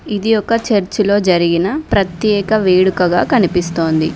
ఇది ఒక చర్చ్ లో జరిగిన ప్రత్యేక వేడుకగా కనిపిస్తుంది.